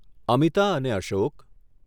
અમિતા અને અશોક